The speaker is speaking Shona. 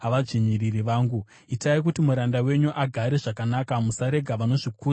Itai kuti muranda wenyu agare zvakanaka; musarega vanozvikudza vachimudzvinyirira.